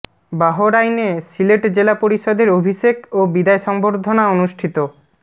বাহরাইনে সিলেট জেলা পরিষদের অভিষেক ও বিদায় সংবর্ধনা অনুষ্ঠিত